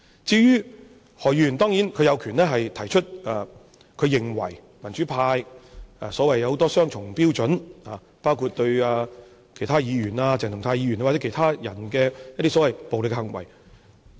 當然，何議員有權提出他認為民主派有很多雙重標準，包括對其他議員、鄭松泰議員或其他人的所謂暴力行為。